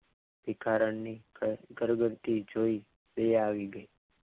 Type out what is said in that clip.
ભિખારણની કરગરથી જોઈ દયા આવી ગઈ.